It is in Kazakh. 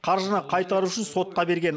қаржыны қайтару үшін сотқа берген